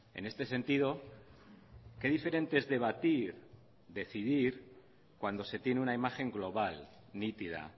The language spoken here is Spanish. en este sentido qué diferente es debatir decidir cuando se tiene una imagen global nítida